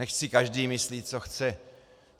Nechť si každý myslí, co chce.